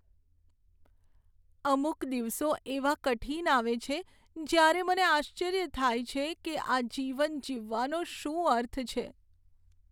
અમુક દિવસો એવા કઠીન આવે છે, જ્યારે મને આશ્ચર્ય થાય છે કે આ જીવન જીવવાનો શું અર્થ છે?